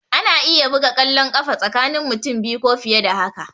Ana iya buga kwallon ƙafa tsakani mutum biyu ko fiye da haka